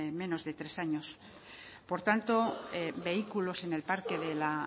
menos de tres años por tanto vehículos en el parque de la